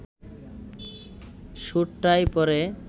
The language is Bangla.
সুট-টাই পরে